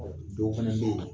dɔw fɛnɛ bɛ yen